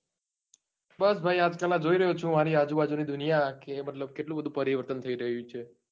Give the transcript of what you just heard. બસ ભાઈ આજકાલ માં જોઈ રહ્યો છું. આજકાલ ની દુનિયા કે મતલબ કેટલું બધું પરિવર્તન થઇ રહ્યું છે.